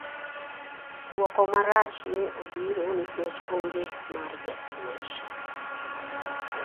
Duoko marach ne obiro nikech ong'e mar japuonj.